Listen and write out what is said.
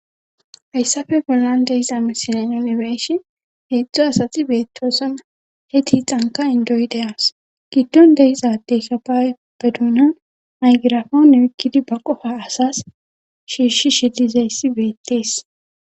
hayssafe bollan dehisa misilen yunbeeshi heetzdzo asati beettosona he tixanka indoy deyas giddon deizadeyka baay be duuna aygirafonne wikkidi ba qofa asas shiishshi shilizayssi beettees